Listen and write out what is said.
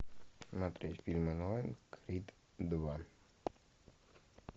смотреть фильм онлайн крид два